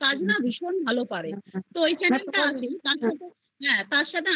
কাজ না ভীষণ ভালো পারে তার সাথে আমি যেটা নতুন